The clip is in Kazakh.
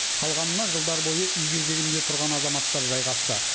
қалғанына жылдар бойы үй кезегінде тұрған азаматтар жайғасты